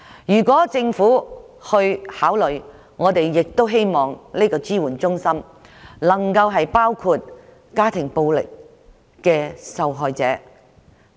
如果政府考慮設立，我們亦希望這些支援中心的服務能包括家庭暴力受害者在內。